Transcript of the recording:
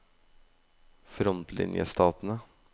frontlinjestatene